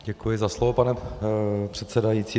Děkuji za slovo, pane předsedající.